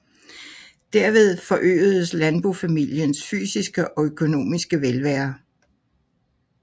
Derved forøgedes landbofamiliens fysiske og økonomiske velvære